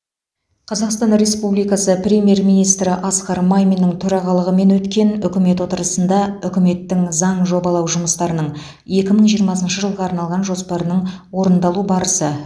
қазақстан республикасы премьер министрі асқар маминнің төрағалығымен өткен үкімет отырысында үкіметтің заң жобалау жұмыстарының екі мың жиырмасыншы жылға арналған жоспарының орындалу барысы